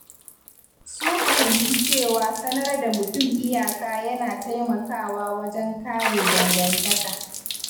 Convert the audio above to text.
Sun fahimci cewa sanar da mutum iyaka yana taimakawa wajen kare dangantaka.